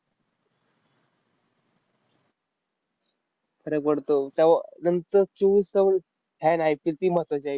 फरक पडतो. नंतर आहे. पण team महत्वाची आहे.